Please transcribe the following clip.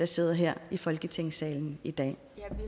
sidder her i folketingssalen i dag